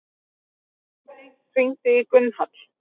Laufey, hringdu í Gunnhall.